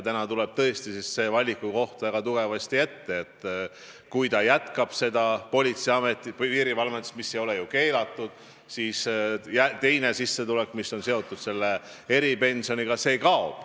Praegu tuleb tõesti see valikukoht väga tugevasti ette, et kui ta jätkab politseiametis või piirivalves, mis ei ole ju keelatud, siis teine sissetulek, mis on seotud eripensioniga, kaob.